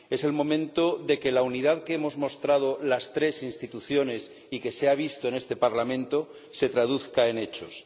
Es el momento de que la unidad que hemos mostrado las tres instituciones y que se ha visto en este Parlamento, se traduzca en hechos.